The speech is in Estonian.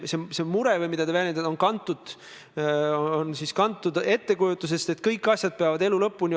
Austatud minister, mul on teile palve, et te selle saavutatud kokkuleppe sisu ministeeriumi poolt nüüd avaliku stenogrammi tarbeks väljendaksite.